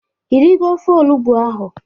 Ị rigo ofe olugbu ahụ?